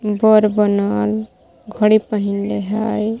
बर बनल घड़ी पहिनले हय।